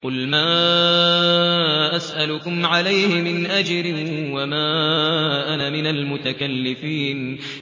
قُلْ مَا أَسْأَلُكُمْ عَلَيْهِ مِنْ أَجْرٍ وَمَا أَنَا مِنَ الْمُتَكَلِّفِينَ